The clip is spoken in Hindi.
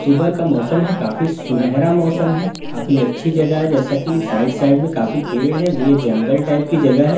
सुबह का मोसम है काफी सुनहरा मौसम है काफी अच्छी जगह है जैसा की साइड साइड में काफी पेड़ है ये जंगल टाइप की जगह है साइड साइड में--